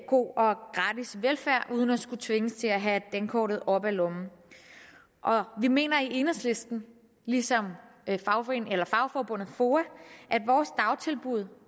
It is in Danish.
god og gratis velfærd uden at skulle tvinges til at have dankortet op af lommen vi mener i enhedslisten ligesom fagforbundet foa at vores dagtilbud